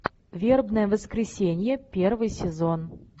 вербное воскресенье первый сезон